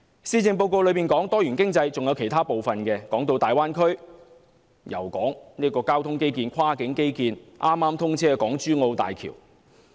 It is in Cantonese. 施政報告有關多元經濟的部分，還有其他內容，提到大灣區、交通基建、跨境基建，以及剛剛通車的港珠澳大橋。